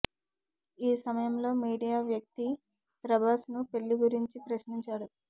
ఈ సమయంలో మీడియా వ్యక్తి ప్రభాస్ను పెళ్లి గురించి ప్రశ్నించాడు